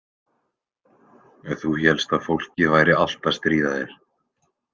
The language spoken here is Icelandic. Þú hélst að fólkið væri allt að stríða þér.